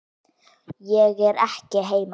Ég er ekki heima.